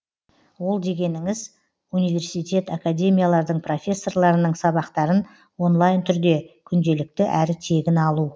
ол дегеніңіз университет академиялардың профессорларының сабақтарын онлайн түрде күнделікті әрі тегін алу